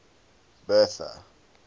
bertha